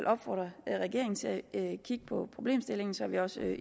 opfordre regeringen til at kigge på problemstillingen så vi også